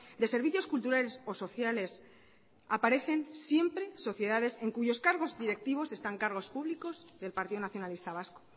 de servicios culturales o sociales aparecen siempre sociedades en cuyos cargos directivos están cargos públicos del partido nacionalista vasco